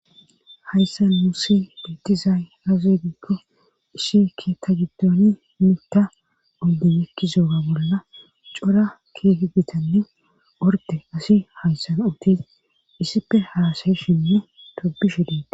Hayssan musi bitizay azegikko ishike ta giddooni mita oddi ekki zooga bolla cora keeti ditanne orde asi hayssan ootes issife haasayeshinne tobishe deet